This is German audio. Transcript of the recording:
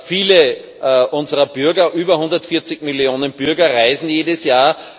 Viele unserer Bürger, über 140 Millionen Bürger, reisen jedes Jahr.